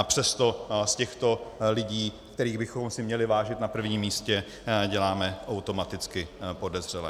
A přesto z těchto lidí, kterých bychom si měli vážit na prvním místě, děláme automaticky podezřelé.